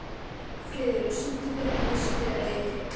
Friðrós, syngdu fyrir mig „Haustið á liti“.